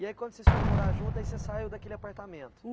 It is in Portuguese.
E aí, quando vocês foram morar junto, aí você saiu daquele apartamento?